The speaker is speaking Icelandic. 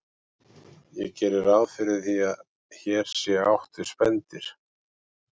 Ég geri ráð fyrir að hér sé átt við spendýr.